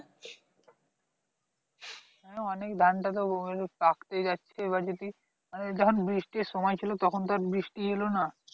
হ্যাঁ অনেক ধান তো পাকতে যাচ্ছে এখন যদি মানে যখন বৃষ্টির সময় ছিল তখন তো আর বৃষ্টি এলো না